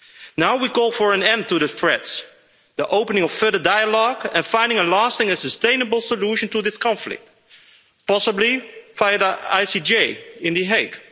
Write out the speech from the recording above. Now we call for an end to the threats, the opening of further dialogue and finding a lasting and sustainable solution to this conflict, possibly via the ICJ in The Hague.